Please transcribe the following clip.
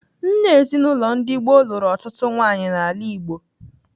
Nna ezinaụlọ ndị gboo lụrụ ọtụtụ nwaanyị n'ala Igbo.